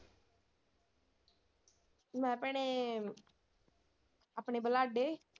ਮੈਂ ਭੈਣੇ ਆਪਣੇ ਬਲਾਡ਼ੇ।